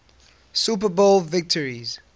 super bowl victories